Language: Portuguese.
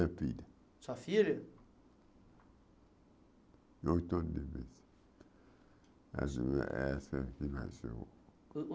Minha filha Sua filha Oito anos de vivência essa essa que nasceu.